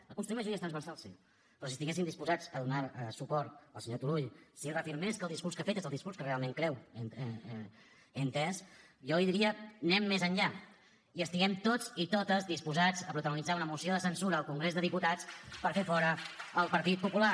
a construir majories transversals sí però si estiguessin disposats a donar suport al senyor turull si reafirmés que el discurs que ha fet és el discurs que realment creu he entès jo li diria anem més enllà i estiguem tots i totes disposats a protagonitzar una moció de censura al congrés dels diputats per fer fora el partit popular